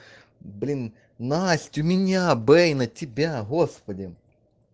блин насть у меня бэй на тебя господи